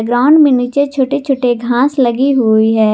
Ground में नीचे छोटे छोटे घास लगी हुई है।